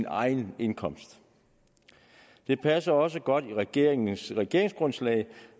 egen indkomst det passer også godt med regeringens regeringsgrundlag